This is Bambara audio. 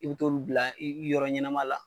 I bi t'olu bila i yɔrɔ ɲɛnama la.